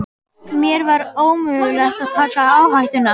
Mér var ómögulegt að taka áhættuna.